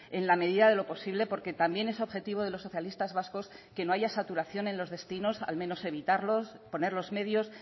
en la medida de lo posible porque también es objetivo de los socialistas vascos que no haya saturación en los destinos al menos evitarlos poner los medios